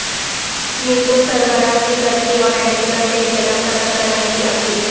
NATO سربراہ کی ترکی اور امریکہ سے اختلاف ختم کرنے کی اپیل